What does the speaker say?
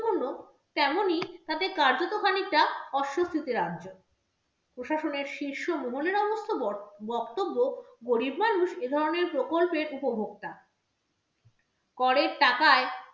তেমনই তাতে কার্যত খানিকটা অস্বস্তিতে রাজ্য। প্রশাসনের শীর্ষ মহলের অবশ্য বক্তব্য গরিব মানুষ এধরণের প্রকল্পের উপভোক্তা করের টাকায়